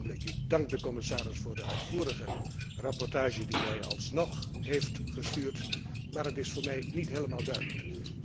Ik dank de commissaris voor de uitvoerige rapportage die hij alsnog heeft gestuurd, maar het is voor mij niet helemaal duidelijk.